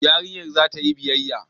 Yarinyar za ta yi biyayya